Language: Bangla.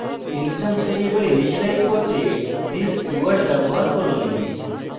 instance ভ্যারিয়েবল ইনিসিয়েলাইজ করতে this keyword ব্যবহার করুন